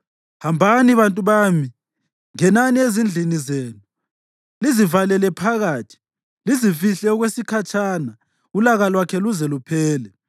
Hambani bantu bami, ngenani ezindlini zenu, lizivalele phakathi; lizifihle okwesikhatshana ulaka lwakhe luze luphele.